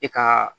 E ka